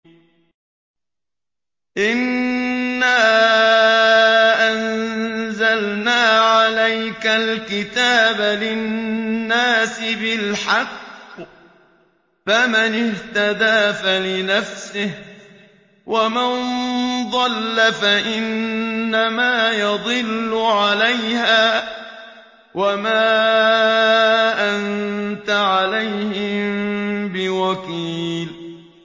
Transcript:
إِنَّا أَنزَلْنَا عَلَيْكَ الْكِتَابَ لِلنَّاسِ بِالْحَقِّ ۖ فَمَنِ اهْتَدَىٰ فَلِنَفْسِهِ ۖ وَمَن ضَلَّ فَإِنَّمَا يَضِلُّ عَلَيْهَا ۖ وَمَا أَنتَ عَلَيْهِم بِوَكِيلٍ